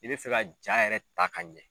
I bɛ fɛ ka jaa yɛrɛ ta ka ɲɛ